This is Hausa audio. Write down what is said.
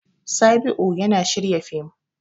Sabi'u yana shirya fim.